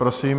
Prosím.